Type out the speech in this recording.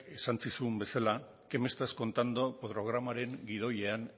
esan zizun bezala qué me estás contando programaren gidoian